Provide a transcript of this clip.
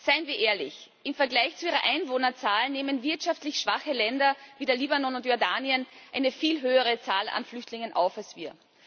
Seien wir ehrlich Im Vergleich zu ihrer Einwohnerzahl nehmen wirtschaftlich schwache Länder wie der Libanon und Jordanien eine viel höhere Zahl an Flüchtlingen auf als wir.